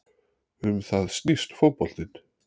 Um það snýst fótboltinn